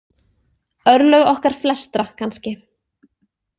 Örlög okkar flestra kannski.